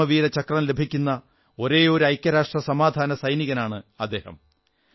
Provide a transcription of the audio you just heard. പരമവീരചക്രം ലഭിക്കുന്ന ഒരേയൊരു ഐക്യരാഷ്ട്രസമാധാന സൈനികനാണ് അദ്ദേഹം